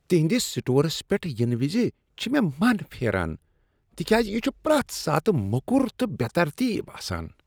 تِہنٛدس stores پیٹھ ینہٕ وِز چِھ مےٚ مَن پھیران تِکیازِ یہِ چُھ پرٛٮ۪تھ ساتہٕ موٚکر تہٕ بے ترتیب آسان۔